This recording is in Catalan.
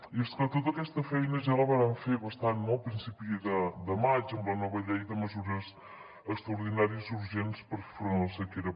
i és que tota aquesta feina ja la vàrem fer bastant a principi de maig amb la nova llei de mesures extraordinàries i urgents per fer front a la sequera